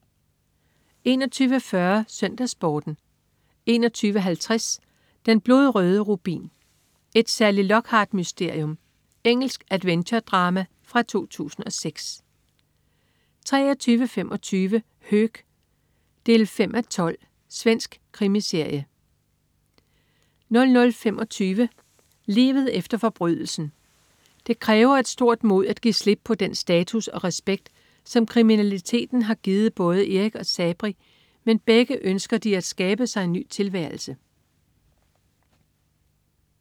21.40 SøndagsSporten 21.50 Den blodrøde rubin. Et Sally Lockhart-mysterium. Engelsk adventure-drama fra 2006 23.25 Höök 5:12. Svensk krimiserie 00.25 Livet efter forbrydelsen. Det kræver et stort mod at give slip på den status og respekt, som kriminaliteten har givet både Eric og Sabri, men begge ønsker at skabe sig en ny tilværelse